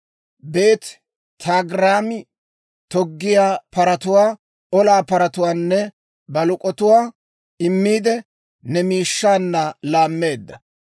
Beeti-Togarmmi toggiyaa paratuwaa, olaa paratuwaanne baluk'otuwaa immiide, ne miishshaanna laammeedda.